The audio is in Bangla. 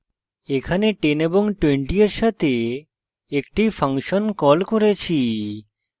এখানে 10 এবং 20 এর সাথে একটি ফাংশন কল করেছি